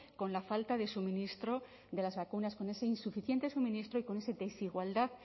con la falta de suministro de las vacunas con ese insuficiente suministro y con esa desigualdad